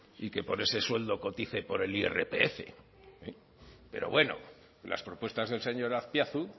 y que por ese sueldo cotice por el irpf pero bueno las propuestas del señor azpiazu